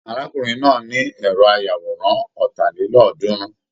Arákùnrin náà ní ẹrọ ayàwòrán ọ́ta lélọ́ọ̀dúnrún.